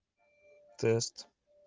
тест